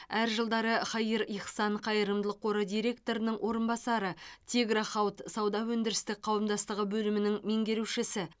әр жылдары хаир ихсан қайырымдылық қоры директорының орынбасары тигро хауд сауда өндірістік қауымдастығы бөлімінің меңгерушісі